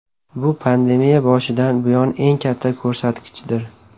Bu pandemiya boshidan buyon eng katta ko‘rsatkichdir.